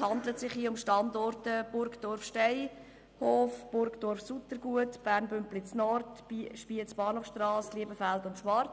handelt es sich um Burgdorf-Steinhof, Burgdorf-Suttergut, Bern Bümpliz-Nord, Spiez-Bahnhofstrasse, Liebefeld und Schwarzenburg.